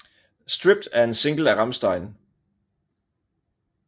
Stripped er en single af Rammstein